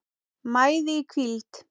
mæði í hvíld